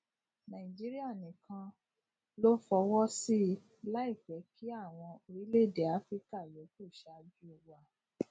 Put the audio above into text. nàìjíríà nìkan ló fọwọ sí i láì fẹ kí àwọn orílẹèdè áfíríkà yòókù ṣáájú wa